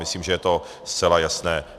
Myslím, že je to zcela jasné.